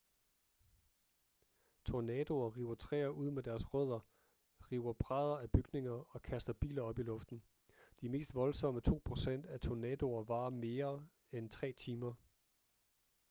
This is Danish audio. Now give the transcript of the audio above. tornadoer river træer ud med deres rødder river brædder af bygninger og kaster biler op i luften de mest voldsomme to procent af tornadoer varer mere end tre timer